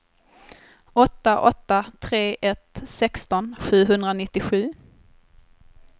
åtta åtta tre ett sexton sjuhundranittiosju